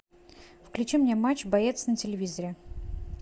включи мне матч боец на телевизоре